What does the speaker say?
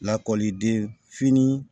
Lakɔliden fini